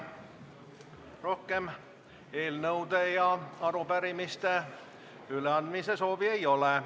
Rohkem eelnõude ja arupärimiste üleandmise soovi ei ole.